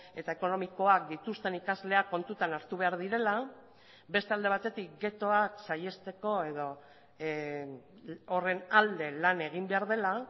eta ekonomikoak dituzten ikasleak kontutan hartu behar direla beste alde batetik ghettoak saihesteko edo horren alde lan egin behar dela